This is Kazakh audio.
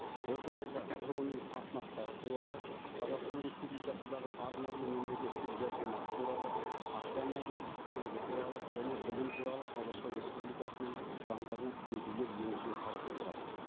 осы орайда тұрғын үй қатынастары туралы қазақстан республикасындағы арнаулы мемлекеттік жәрдемақы туралы автомобиль көлігі туралы және білім туралы қазақстан республикасының заңдарына түзетулер енгізу қарастырылған